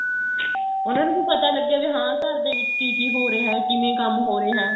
ਉਹਨਾ ਨੂੰ ਵੀ ਪਤਾ ਲੱਗੇ ਵੀ ਹਾਂ ਘਰ ਦੇ ਵਿੱਚ ਕੀ ਕੀ ਹੋ ਰਿਹਾ ਏ ਕਿਵੇਂ ਕੰਮ ਹੋ ਰਿਹਾ ਏ